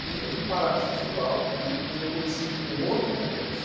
E eu fui parar nesse festival e eu conheci um outro negócio.